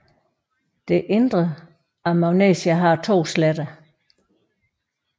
Det indre af Magnesia har to sletter